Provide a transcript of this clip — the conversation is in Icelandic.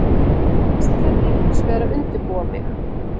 Fyrst þarf ég hinsvegar að undirbúa mig.